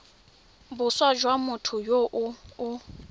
boswa jwa motho yo o